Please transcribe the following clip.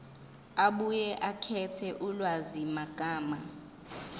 abuye akhethe ulwazimagama